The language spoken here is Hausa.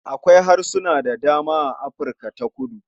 Akwai harsuna da dama a Afirka ta kudu.